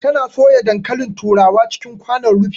Ta na soya dankalin turawa cikin kwanon rufi